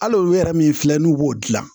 Hali olu yɛrɛ min filɛ n'u b'o dilan